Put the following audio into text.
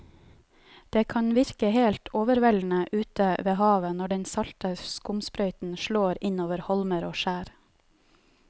Det kan virke helt overveldende ute ved havet når den salte skumsprøyten slår innover holmer og skjær.